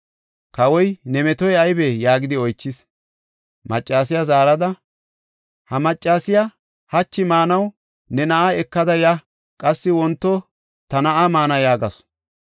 Kawoy, “Ne metoy aybee?” yaagidi oychis. Maccasiya zaarada, “Ha maccasiya, ‘Hachi maanaw ne na7a ekada ya; qassi wonto ta na7aa maana’ yaagasu.